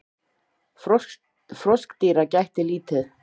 Froskdýra gætti lítið.